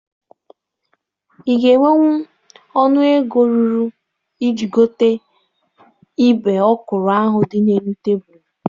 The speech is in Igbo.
Ị ga-enwenwu ọnụ ego ruru iji gote ibe ọkwụrụ ahụ dị n'elu tebụlụ?